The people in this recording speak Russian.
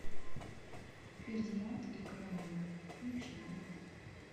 фердинанд и каролина включи мне